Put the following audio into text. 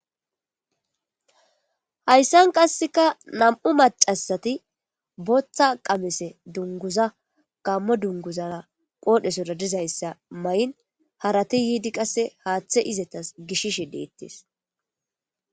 hayssan qasseka nam'u macasati booththa qamese dunguza gammo dunguzara qoodhesora dizayssa may7in harati yiidi qasse haaththe izetas gishishe deettes